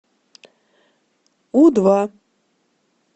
у два